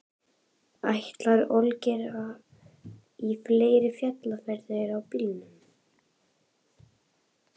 Ætlar Olgeir í fleiri fjallferðir á bílnum?